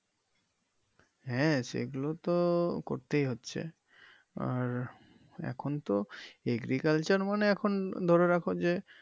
হ্যা সেগুলো তো করতেই হচ্ছে আর এখন তো agriculture মানে এখন ধরে রাখো যে,